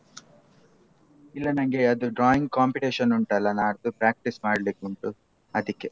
ಇಲ್ಲ ನಂಗೆ ಅದು drawing competition ಉಂಟಲ್ಲ ನಡ್ದು practice ಮಾಡ್ಲಿಕುಂಟು ಅದಿಕ್ಕೆ.